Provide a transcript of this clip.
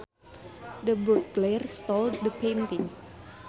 The burglar stole the painting